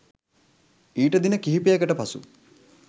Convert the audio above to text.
ඊට දින කිහිපයකට පසු